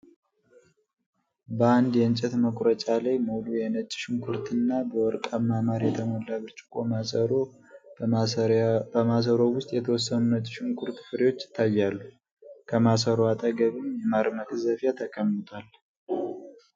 በአንድ የእንጨት መቁረጫ ላይ፣ ሙሉ የነጭ ሽንኩርትና በወርቃማ ማር የተሞላ ብርጭቆ ማሰሮ። በማሰሮው ውስጥ የተወሰኑ ነጭ ሽንኩርት ፍሬዎች ይታያሉ፤ ከማሰሮው አጠገብም የማር መቅዘፊያ ተቀምጧል።